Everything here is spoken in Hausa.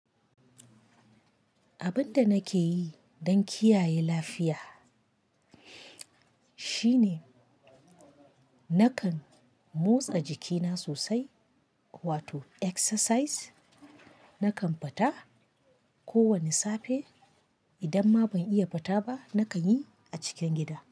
Abin da nake yi don kiyaye lafiya shine nakan motsa jikina sosai, wato exercise. Nakan fita kowane safe. Idan ma ban iya fita ba, nakan yi a cikin gida.